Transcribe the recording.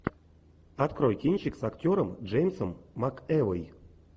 открой кинчик с актером джеймсом макэвой